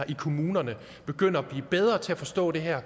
i kommunerne begynder at blive bedre til at forstå det her